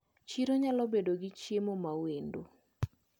Chiro nyalobedo gi chiemo mawendo.